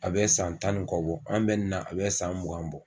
A bɛ san tan ni kɔ bɔ an bɛ nin na a bɛ san mugan bɔ.